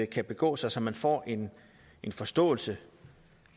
kan begå sig så man får en forståelse